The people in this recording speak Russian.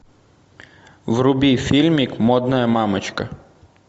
вруби фильмик модная мамочка